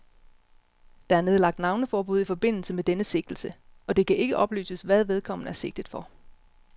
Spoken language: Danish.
Der er nedlagt navneforbud i forbindelse med denne sigtelse, og det kan ikke oplyses, hvad vedkommende er sigtet for.